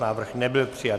Návrh nebyl přijat.